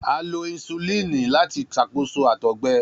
A lo insulini lati ṣakoso àtọgbẹ